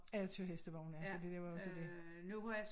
Eller køre hestevogn ja fordi der var også det